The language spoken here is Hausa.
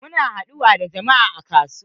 Mun haɗu da juna a kasuwa.